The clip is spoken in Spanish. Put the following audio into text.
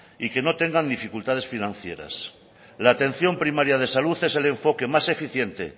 y que no tengan dificultades financieras la atención primaria de salud es el enfoque más eficiente